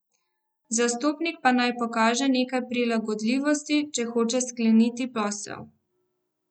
Zastopnik pa naj pokaže nekaj prilagodljivosti, če hoče skleniti posel.